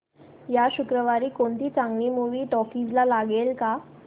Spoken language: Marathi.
या शुक्रवारी कोणती चांगली मूवी टॉकीझ ला लागेल का